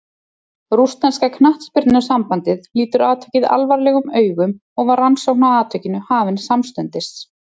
Rússneska knattspyrnusambandið lítur atvikið alvarlegum augum og var rannsókn á atvikinu hafin samstundis.